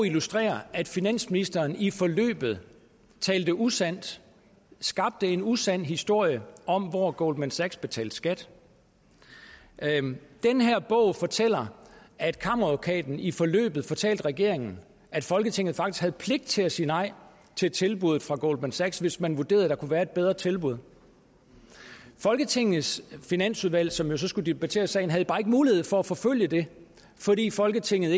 illustrerer at finansministeren i forløbet talte usandt skabte en usand historie om hvor goldman sachs betalte skat den her bog fortæller at kammeradvokaten i forløbet fortalte regeringen at folketinget faktisk havde pligt til at sige nej til tilbuddet fra goldman sachs hvis man vurderede at der kunne være et bedre tilbud folketingets finansudvalg som jo så skulle debattere sagen havde bare ikke mulighed for at forfølge det fordi folketinget